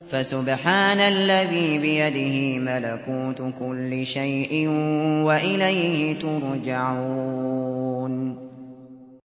فَسُبْحَانَ الَّذِي بِيَدِهِ مَلَكُوتُ كُلِّ شَيْءٍ وَإِلَيْهِ تُرْجَعُونَ